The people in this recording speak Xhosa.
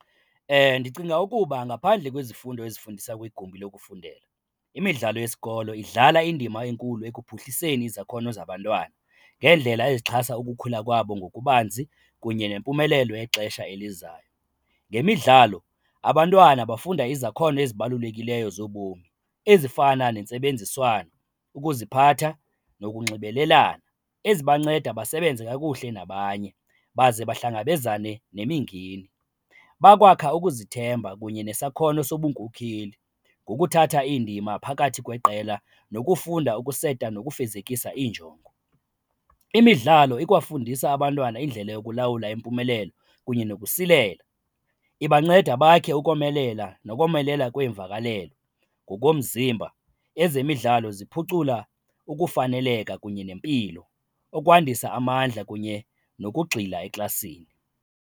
Ndicinga ukuba ngaphandle kwezifundo ezifundisa kwigumbi lokufundela, imidlalo yesikolo idlala indima enkulu ekuphuhliseni izakhono zabantwana ngeendlela ezixhasa ukukhula kwabo ngokubanzi kunye nempumelelo yexesha elizayo. Ngemidlalo abantwana bafunda izakhono ezibalulekileyo zobomi ezifana nentsebenziswano, ukuziphatha nokunxibelelana, ezibanceda basebenze kakuhle nabanye baze bahlangabezana nemingeni. Bakwakha ukuzithemba kunye nesakhono sobunkokheli ngokuthatha indima phakathi kweqela nokufunda ukuseta nokufezekisa iinjongo. Imidlalo ikwafundisa abantwana indlela yokulawula impumelelo kunye sokusilela, ibanceda bakhe ukomelela nokomelela kweemvakalelo ngokomzimba. Ezemidlalo ziphucula ukufaneleka kunye nempilo, ukwandisa amandla kunye nokugxila eklasini.